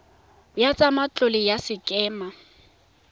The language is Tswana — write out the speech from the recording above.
ya tsa matlole ya sekema